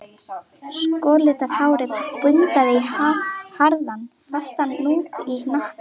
Skollitað hárið bundið í harðan, fastan hnút í hnakk